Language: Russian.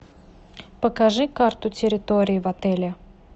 покажи карту территории в отеле